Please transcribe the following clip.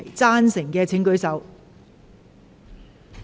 贊成的請舉手。